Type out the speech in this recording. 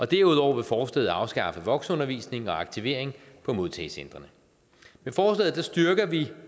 derudover vil forslaget afskaffe voksenundervisning og aktivering på modtagecentrene med forslaget styrker vi